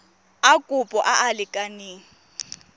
a kopo a a lekaneng